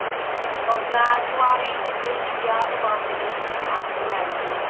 ਕੁਵਾਰੀਆਂ ਹੀ ਕਰਦੇ ਸੀ ਵਿਆਹ ਤੋਹ ਬਾਅਦ ਤੇ ਨਹੀਂ after marriage ਨਹੀਂ